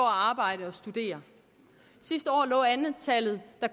arbejde og studere sidste år lå antallet af